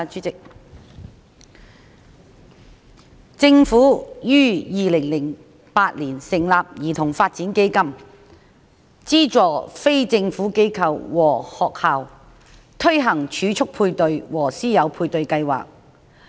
政府於2008年成立兒童發展基金，資助非政府機構和學校推行儲蓄配對和師友配對計劃。